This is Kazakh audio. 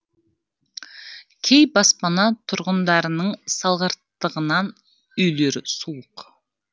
кей баспана тұрғындарының салғырттығынан үйлері суық